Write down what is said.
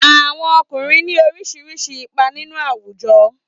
Àwọn ọkùnrin ní oríṣiríṣi ipa nínú àwùjọ.